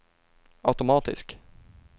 automatisk